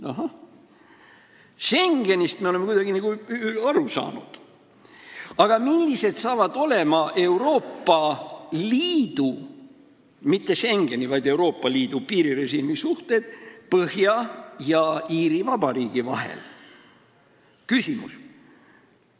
Ahah, Schengenist me oleme nagu kuidagi aru saanud, aga millised saavad olema Euroopa Liidu – mitte Schengeni, vaid Euroopa Liidu – piirirežiimisuhted Põhja-Iiri ja Iiri Vabariigi vahel?